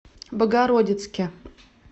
богородицке